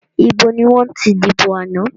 Ìbò ni wọ́n ti dìbò àná?